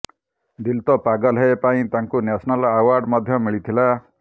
ଦିଲ ତୋ ପାଗଲ ହେ ପାଇଁ ତାଙ୍କୁ national award ମଧ୍ୟ ମିଳିଥିଲା